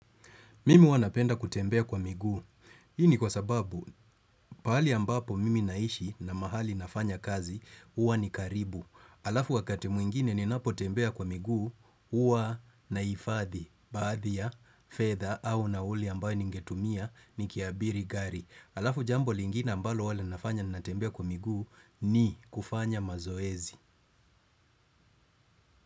Mimi huwa napenda kutembea kwa miguu. Hii ni kwa sababu, pahali ambapo mimi naishi na mahali nafanya kazi, huwa ni karibu. Alafu wakati mwingine ninapotembea kwa miguu, huwa nahifadhi, baadhi, ya fedha au nauli ambayo ningetumia nikiabiri gari. Alafu jambo lingine ambalo huwa linafanya natembea kwa miguu ni kufanya mazoezi.